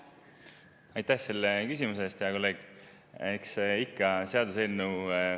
Aitäh selle küsimuse eest, hea kolleeg!